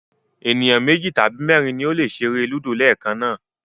Ènìyàn méjì tàbí mẹ́rin ni ó lè ṣeré Ludo leekan náà